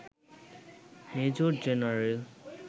major general